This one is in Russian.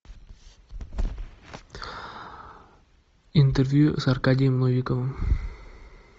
интервью с аркадием новиковым